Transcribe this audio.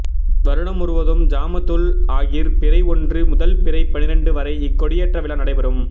வருடம் தோறும் ஜமாதுல் ஆகிர் பிறை ஒன்று முதல் பிறை பனிரெண்டு வரை இக் கொடியேற்ற விழா நடைபெறும்